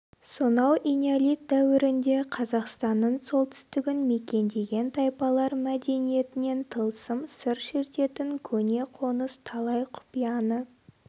сонау энеолит дәуірінде қазақстанның солтүстігін мекендеген тайпалар мәдениетінен тылсым сыр шертетін көне қоныс талай құпияны